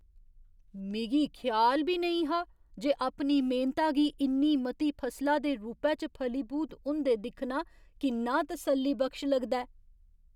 मिगी ख्याल बी नेईं हा जे अपनी मेह्नता गी इन्नी मती फसला दे रूपै च फलीभूत होंदे दिक्खना किन्ना तसल्लीबख्श लगदा ऐ।